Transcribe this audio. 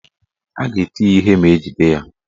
A ga-eti ya ihe ma ejide ya.